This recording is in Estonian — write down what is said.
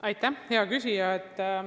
Aitäh, hea küsija!